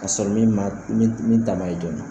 Ka sɔrɔ min man min min ta man ye joona.